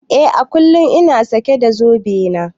Eh à kullum ina sake da zobe na.